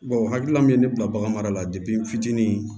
o hakilina min ye ne bila bagan mara la n fitinin